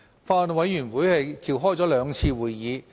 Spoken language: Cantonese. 法案委員會共召開了兩次會議。